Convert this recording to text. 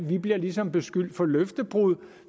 vi bliver ligesom beskyldt for løftebrud og